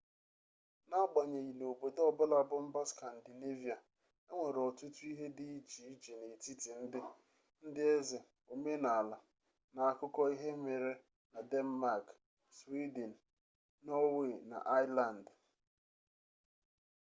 n'agbanyeghị na obodo ọbụla bụ 'mba skandinevia' enwere ọtụtụ ihe dị iche n'etiti ndị ndị eze omenala na akụkọ ihe mere na denmak swiden nọọwe na aisland